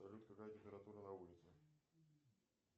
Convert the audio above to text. салют какая температура на улице